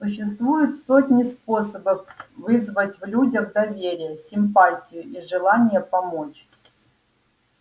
существуют сотни способов вызвать в людях доверие симпатию и желание помочь